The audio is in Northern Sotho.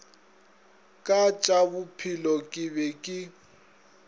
ka tšabophelo ke be ke